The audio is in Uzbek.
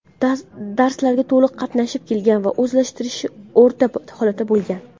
darslarga to‘liq qatnashib kelgan va o‘zlashtirishi o‘rta holatda bo‘lgan.